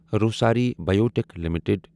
Rossari biotech limited